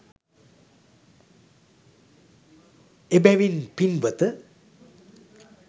එබැවින් පිංවත,